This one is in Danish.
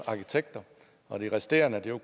arkitekter og de resterende var